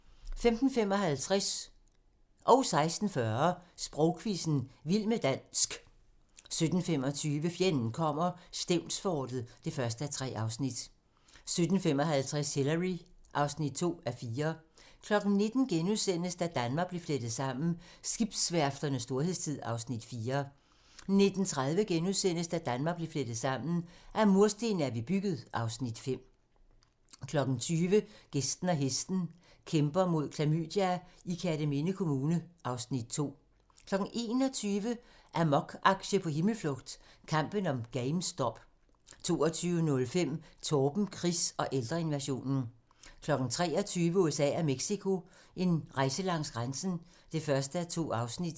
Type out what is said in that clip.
15:55: Sprogquizzen - vild med dansk 16:40: Sprogquizzen – vild med dansk 17:25: Fjenden kommer - Stevnsfortet (1:3) 17:55: Hillary (2:4) 19:00: Da Danmark blev flettet sammen: Skibsværfternes storhedstid (Afs. 4)* 19:30: Da Danmark blev flettet sammen: Af mursten er vi bygget (Afs. 5)* 20:00: Gæsten og hesten - Kæmper mod klamydia i Kerteminde Kommune (Afs. 2) 21:00: Amok-aktie på himmelflugt - kampen om GameStop 22:05: Torben Chris og ældreinvasionen 23:00: USA og Mexico: En rejse langs grænsen (1:2)